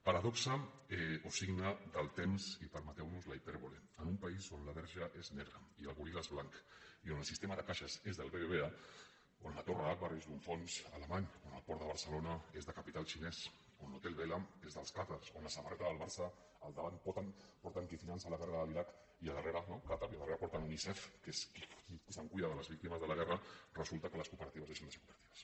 paradoxa o signe del temps i permeteu nos la hipèrbole en un país on la verge és negra i el goril·la és blanc i on el sistema de caixes és del bbva on la torre agbar és d’un fons alemany on el port de barcelona és de capital xinès on l’hotel vela és dels qàtars on la samarreta del barça al davant porta qui finança la guerra de l’iraq qatar no i a darrere porta unicef que és qui es cuida de les víctimes de la guerra resulta que les cooperatives deixen de ser cooperatives